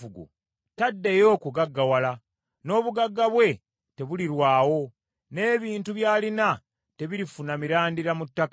Taddeyo kugaggawala, n’obugagga bwe tebulirwawo, n’ebintu by’alina tebirifuna mirandira mu ttaka.